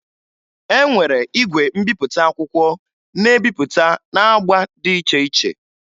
E nwere igwe mbipụta akwụkwọ na-ebipụta n'agba dị iche iche